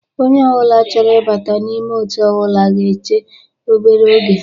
Onye ọbụla chọrọ ịbata n'ime otu ọbụla ga-eche obere oge